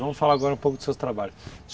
Vamos falar agora um pouco dos seus trabalhos.